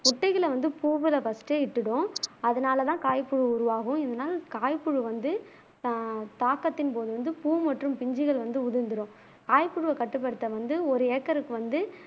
முட்டைகளை வந்து பூவுல ஃபஸ்ட்டே இட்டுடும் அதுனால தான் காய்ப்புழு உருவாகும் இதுனால காய்புழு வந்து தாக்கத்தின் போது வந்து பூ மற்றும் பிஞ்சுகள் வந்து உதிர்ந்துரும் காய்ப்புழுவை கட்டுப்படுத்த வந்து ஒரு ஏக்கருக்கு வந்து